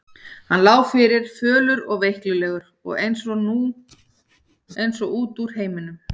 Hann lá fyrir, fölur og veiklulegur og eins og út úr heiminum.